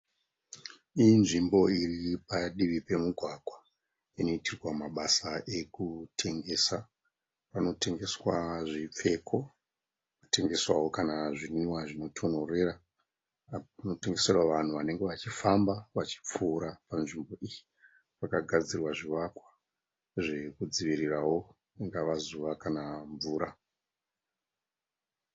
Iyi nzvimbo iri padivi pemugwagwa. Inoitirwa mabasa ekutengesa. Panotengeswa zvipfeko. Panotengeswawo kana zvinwiwa zvinotonhorera. Zvinotengeserwa vanhu vanenge vachifamba vachipfuura panzvimbo iyi. Pakagadzirwa zvivakwa zvekudzivirirawo ringava zuva kana mvura.